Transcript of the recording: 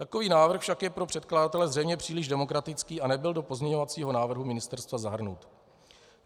Takový návrh však je pro předkladatele zřejmě příliš demokratický a nebyl do pozměňovacího návrhu ministerstva zahrnut.